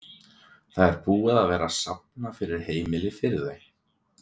Það er búið að vera safna fyrir heimili fyrir þau?